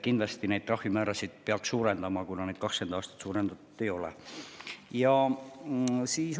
Kindlasti peaks neid trahvimäärasid suurendama, kuna 20 aastat seda tehtud ei ole.